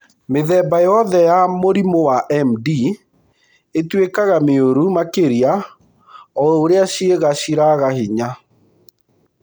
Mĩthemba yothe ya mũrimũ wa MD ĩtuĩkaga mĩũru makĩria o ũrĩa ciĩga ciraga hinya.